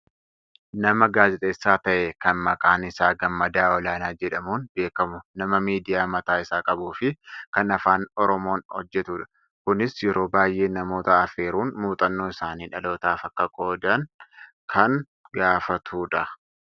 nama gaazexeessaa ta'e kan maqaan isaa Gammadaa Olaanaa jedhamuun beekkamu nama miidiya mataa isaa qabuufi kan afaan oromoon hojjatudha. kunis yeroo baayyee namoota affeeruun muuxannoo isaanii dhalootaaf akka qoodan kan gaafatudha.